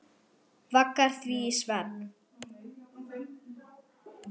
Vaggar því í svefn.